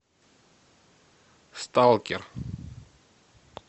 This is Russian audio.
сталкер